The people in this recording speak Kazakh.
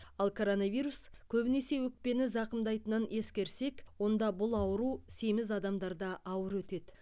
ал коронавирус көбінесе өкпені зақымдайтынын ескерсек онда бұл ауру семіз адамдарда ауыр өтеді